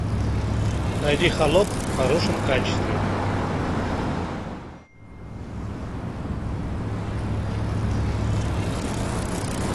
найди холоп в хорошем качестве